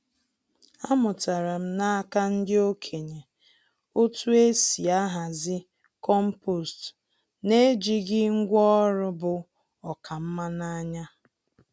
Amụtara m n’aka ndị okenye otú e si ahazi compost n’ejighị ngwá ọrụ bu oká nma n’anya.